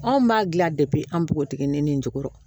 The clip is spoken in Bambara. Anw b'a dilan an bpotigi nin ni n jukɔrɔ